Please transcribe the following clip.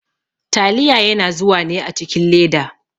Taliya yana zuwa ne a cikin leda.